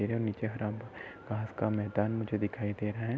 इधर नीचे हरा घास का मैंदान मुझे दिखाई दे रहा है।